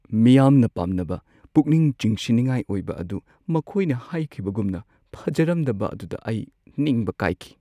ꯃꯤꯌꯥꯝꯅ ꯄꯥꯝꯅꯕ ꯄꯨꯛꯅꯤꯡ ꯆꯤꯡꯁꯤꯟꯅꯤꯡꯉꯥꯏ ꯑꯣꯏꯕ ꯑꯗꯨ ꯃꯈꯣꯏꯅ ꯍꯥꯏꯈꯤꯕꯒꯨꯝꯅ ꯐꯖꯔꯝꯗꯕ ꯑꯗꯨꯗ ꯑꯩ ꯅꯤꯡꯕ ꯀꯥꯏꯈꯤ꯫